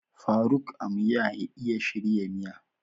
Faruk Amya iya shirya miya.